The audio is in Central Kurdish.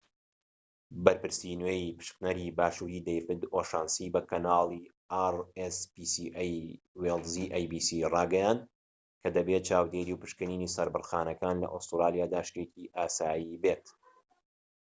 بەرپرسی نوێی پشکنەری باشووری وێیڵزیrspca ‎ دەیڤید ئۆشانسی بە کەناڵی ئەی بی سی ڕاگەیاند کە دەبێت چاودێری و پشکنینی سەربڕخانەکان لە ئوسترالیادا شتێکی ئاسایی بێت